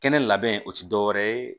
Kɛnɛ labɛn o ti dɔwɛrɛ ye